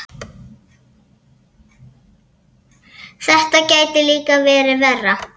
Þetta gæti líka verið verra.